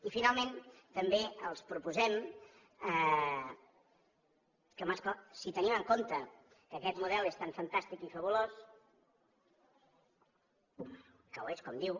i finalment també els proposem si tenim en compte que aquest model és tan fantàstic i fabulós que ho és com diu